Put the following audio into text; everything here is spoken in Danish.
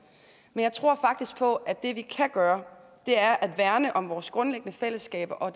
men jeg tror faktisk på at det vi kan gøre er at værne om vores grundlæggende fællesskaber og